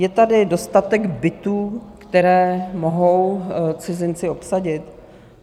Je tady dostatek bytů, které mohou cizinci obsadit?